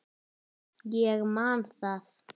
Ég man það.